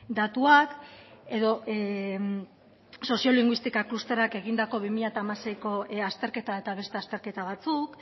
datuak edo sozio linguistika klusterrak egindako bi mila hamaseiko azterketa eta beste azterketa batzuk